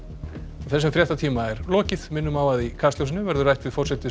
þessum fréttatíma er lokið minnum á að í Kastljósi verður rætt við forsætis